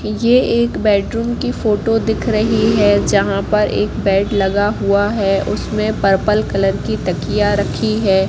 ये एक बेडरूम की फोटो दिख रही है जहां पर एक बेड लगा हुआ है। उसमें पर्पल कलर की तकिया रखी है।